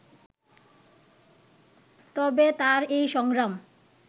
তবে তার এই সংগ্রাম